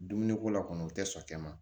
Dumuni ko la kɔni u tɛ sɔn e ma